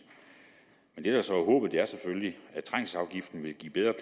men det der så er håbet er selvfølgelig